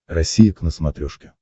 россия к на смотрешке